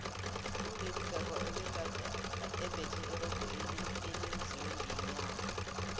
ulady gaga ubegade embethe irogo elenziwe ngenyama